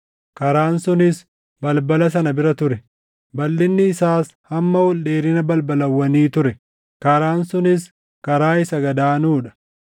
Karaan sunis balbala sana bira ture; balʼinni isaas hamma ol dheerina balbalawwanii ture; karaan kunis karaa isa gad aanuu dha.